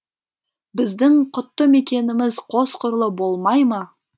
біздің құтты мекеніміз қос құрлы болмай ма